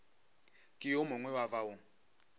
ke yo mongwe wa bao